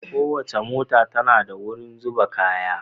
Kowace mota tana da wurin zuba kaya